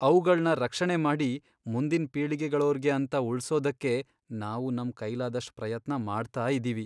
ಅವ್ಗಳ್ನ ರಕ್ಷಣೆ ಮಾಡಿ ಮುಂದಿನ್ ಪೀಳಿಗೆಗಳೋರ್ಗೆ ಅಂತ ಉಳ್ಸೋದಕ್ಕೆ ನಾವು ನಮ್ ಕೈಲಾದಷ್ಟ್ ಪ್ರಯತ್ನ ಮಾಡ್ತಾ ಇದೀವಿ.